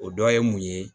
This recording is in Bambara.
O dɔ ye mun ye